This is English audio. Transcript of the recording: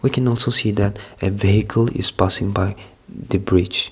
we can also see that a vehicle is passing by the bridge.